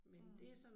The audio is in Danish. Mh